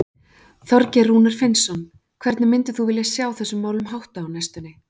Þorgeir Rúnar Finnsson: Hvernig myndir þú vilja sjá þessum málum háttað á næstunni?